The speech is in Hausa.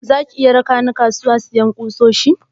Zaki iya raka ni kasuwa siyan kusoshi?